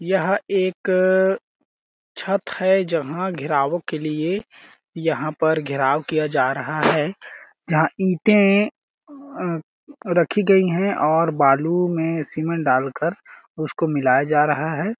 यह एक छत है जहाँ घेराव के लिए यहाँ पर घेराव किया जा रहा है जहाँ इटे अ रखी गई हैं और बालू में सीमेंट डाल कर उसको मिलाया जा रहा है।